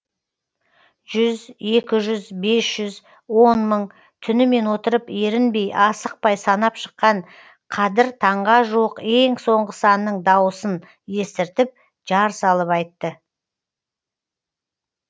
жүз екі жүз бес жүз он мың түнімен отырып ерінбей асықпай санап шыққан қадір таңға жуық ең соңғы санның дауысын естіртіп жар салып айтты